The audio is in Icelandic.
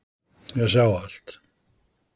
Ég sá allt